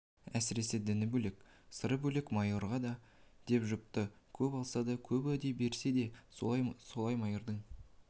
әсіресе діні бөлек сыры бөлек майыр ғой деп жұпты көп алса да көп уәде берсе де сол майырдың